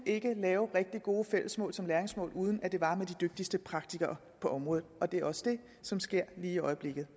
lave rigtig gode fælles mål som læringsmål uden at det var med de dygtigste praktikere på området og det er også det som sker lige i øjeblikket